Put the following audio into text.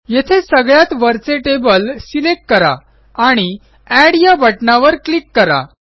येथे सगळ्यात वरचे टेबल सिलेक्ट करा आणि एड या बटणावर क्लिक करा